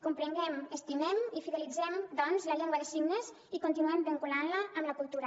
comprenguem estimem i fidelitzem doncs la llengua de signes i continuem vinculant la amb la cultura